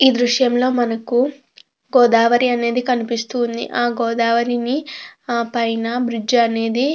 ఈ దృశ్యాల్లో మనకు గోదావరి అనేది కనిపిస్తుంది. గోదావరి పైన బ్రిడ్జ్ అనేది ఉంది.